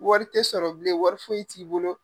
Wari tɛ sɔrɔ bilen wari foyi t'i bolo.